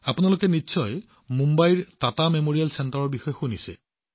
আপোনালোক সকলোৱে নিশ্চয় মুম্বাইৰ টাটা মেমৰিয়েল কেন্দ্ৰৰ বিষয়ে শুনিছে